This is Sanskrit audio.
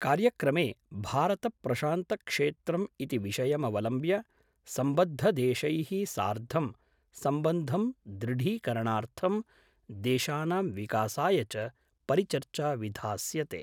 कार्यक्रमे भारतप्रशान्तक्षेत्रम् इति विषयमवलम्ब्य सम्बद्धदेशैः सार्धं सम्बन्धं दृढीकरणार्थं देशानां विकासाय च परिचर्चा विधास्यते।